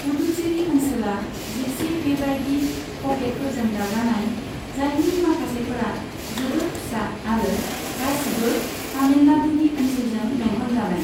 पुदुचेरी ओनसोला जिसे बेबायदि पकेटफोरजों दाजानाय, जायनि माखासेफोरा जोबोद फिसा आरो गासिबो तामिलनाडुनि ओनसोलजों बेंखनजानाय।